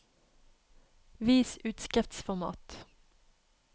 Vis utskriftsformat